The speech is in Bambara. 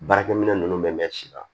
Baarakɛminɛn ninnu bɛ mɛn si la